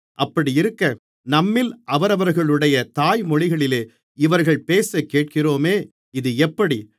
அப்படியிருக்க நம்மில் அவரவர்களுடைய தாய் மொழிகளிலே இவர்கள் பேசக்கேட்கிறோமே இது எப்படி